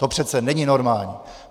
To přece není normální!